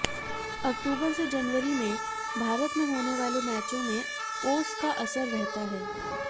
अक्टूबर से जनवरी में भारत में होने वाले मैचों में ओस का असर रहता है